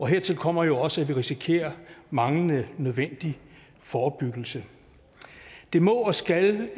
hertil kommer jo også at vi risikerer manglende nødvendig forebyggelse det må og skal